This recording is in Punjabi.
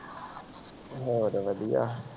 ਹੋਰ ਵਧੀਆ।